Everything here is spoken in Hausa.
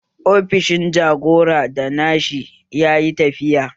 Ofisan jagora da Nasiha yayi tafiya